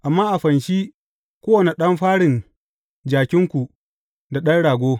Amma a fanshi kowane ɗan farin jakinku da ɗan rago.